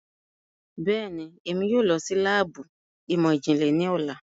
Bẹẹni, Emi yoo lọ si laabu imọ-jinlẹ ni ọla